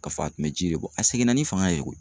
K'a fɔ a tun bɛ ji de bɔ a seginna ni fanga ye